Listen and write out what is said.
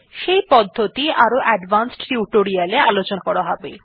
সেই পদ্ধতি আরো অ্যাডভান্সড টিউটোরিয়ালে আলোচনা করা হবে